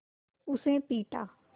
उसे पीटा